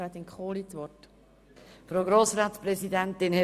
Catherine Graf-Lutz (f)